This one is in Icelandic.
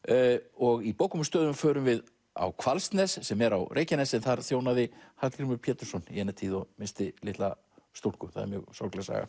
og í bókum og stöðum förum við á Hvalsnes sem er á Reykjanesi þar þjónaði Hallgrímur Pétursson í eina tíð og missti litla stúlku það er mjög sorgleg saga